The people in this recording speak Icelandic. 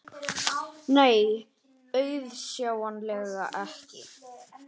Nei, auðsjáanlega ekki.